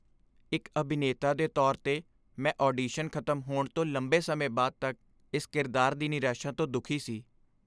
ਇੱਕ ਅਭਿਨੇਤਾ ਦੇ ਤੌਰ 'ਤੇ, ਮੈਂ ਆਡੀਸ਼ਨ ਖ਼ਤਮ ਹੋਣ ਤੋਂ ਲੰਬੇ ਸਮੇਂ ਬਾਅਦ ਤੱਕ ਇਸ ਕਿਰਦਾਰ ਦੀ ਨਿਰਾਸ਼ਾ ਤੋਂ ਦੁਖੀ ਸੀ।